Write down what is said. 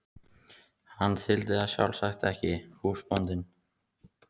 Hann þyldi það sjálfsagt ekki, húsbóndinn.